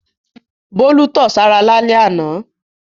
Bólú tọ̀ sára lálẹ́ àná.